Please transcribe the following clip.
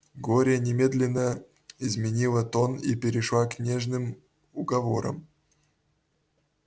глория немедленно изменила тон и перешла к нежным уговорам